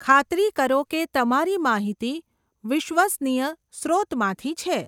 ખાતરી કરો કે તમારી માહિતી વિશ્વસનીય સ્રોતમાંથી છે.